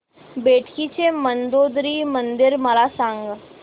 बेटकी चे मंदोदरी मंदिर मला सांग